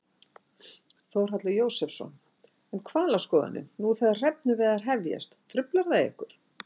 Þórhallur Jósefsson: En hvalaskoðunin, nú þegar hrefnuveiðar hefjast, truflar það ykkur?